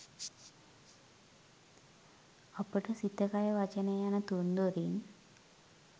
අපට සිත කය වචනය යන තුන්දොරින්